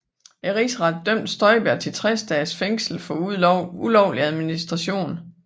Rigsrettens dømte Støjberg til 60 dages fængsel for ulovlig administration